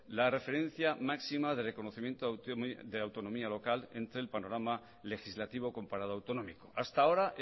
la referencia máxima de reconocimiento de autonomía local entre el panorama legislativo comparado autonómico hasta ahora